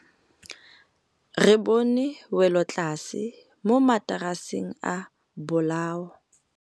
Re bone wêlôtlasê mo mataraseng a bolaô.